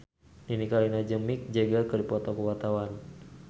Nini Carlina jeung Mick Jagger keur dipoto ku wartawan